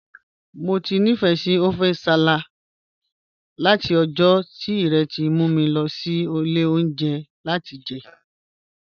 Mo ti nifẹ ọfẹ̀ nsálà̀ lati ọ̀jọ̀ ti Rẹ̀ mu mi lọ sí ilẹ̀ ọ̀unjẹ̀ yẹn lati jẹ ẹ.